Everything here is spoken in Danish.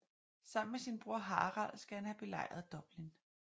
Sammen med sin bror Harald skal han have belejret Dublin